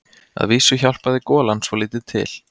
Að vísu hjálpaði golan svolítið til.